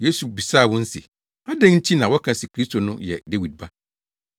Yesu bisaa wɔn se, “Adɛn nti na wɔka se Kristo no yɛ Dawid ba?”